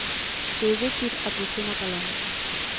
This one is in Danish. Det er vigtigt, at vi finder balancen.